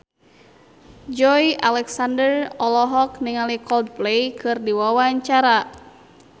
Joey Alexander olohok ningali Coldplay keur diwawancara